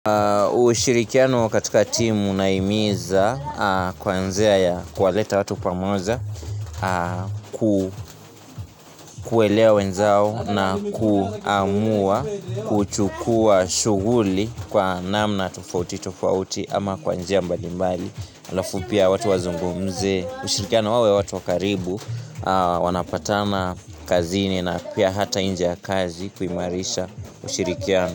Ushirikiano wa katika timu unahimiza kwanzea ya kualeta watu pamoja kuelea wenzao na kuamua kuchukua shuguli kwa namna tufauti tufauti ama kwa njia mbalimbali halafu pia watu wazungumze. Ushirikiano wawe watu wakaribu wanapatana kazini na pia hata inje ya kazi kuhimarisha ushirikiano.